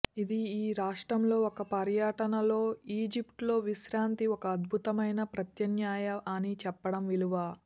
ఇది ఈ రాష్ట్రంలో ఒక పర్యటనలో ఈజిప్ట్ లో విశ్రాంతి ఒక అద్భుతమైన ప్రత్యామ్నాయ అని చెప్పడం విలువ